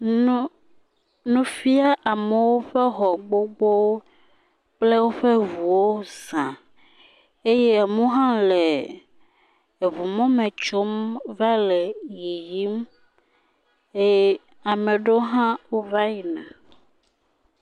Nu nu fia amewo ƒe xɔ gbogbowo kple woƒe ŋuwo za eye amewo hã le eŋumɔme tsom va le yiyim eye ame aɖewo hã wova yina.